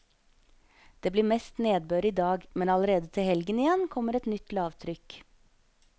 Det blir mest nedbør i dag, men allerede til helgen igjen kommer et nytt lavtrykk.